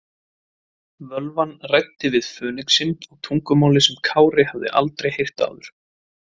Völvan ræddi við fönixinn á tungumáli sem Kári hafði aldrei heyrt áður.